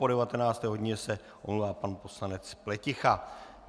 Po 19. hodině se omlouvá pan poslanec Pleticha.